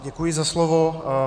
Děkuji za slovo.